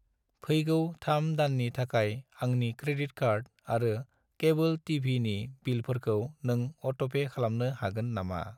फैगौ 3 दाननि थाखाय आंनि क्रेडिट कार्ड आरो केबोल टि.भि. नि बिलफोरखौ नों अट'पे खालामनो हागोन नामा?